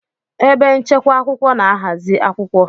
Ebe nchekwa akwụkwọ na-ahazi akwụkwọ